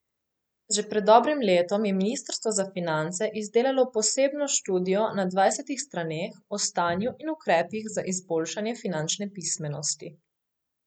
Že pred dobrim letom je Ministrstvo za finance izdelalo posebno študijo na dvajsetih straneh o stanju in ukrepih za izboljšanje finančne pismenosti.